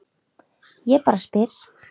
Ég bara spyr